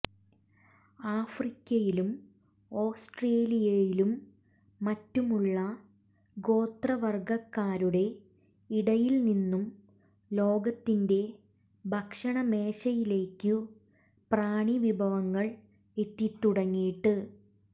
ആഫ്രിക്കയിലും ഓസ്ട്രേലിയയിലും മറ്റുമുള്ള ഗോത്രവർഗക്കാരുടെ ഇടയിൽനിന്നു ലോകത്തിന്റെ ഭക്ഷണമേശയിലേക്കു പ്രാണി വിഭവങ്ങൾ എത്തിത്തുടങ്ങിയിട്ട്